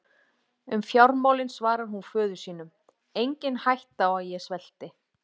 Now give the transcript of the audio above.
Um fjármálin svarar hún föður sínum: Engin hætta á að ég svelti.